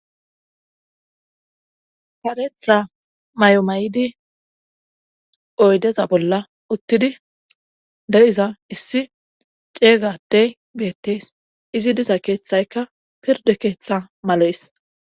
fareetha may7o maydi oydeza bolla uttidi de7iza issi ceeygadey beettees izi diza keeththaykka pirde keeththa malees